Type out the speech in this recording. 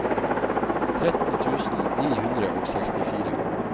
tretten tusen ni hundre og sekstifire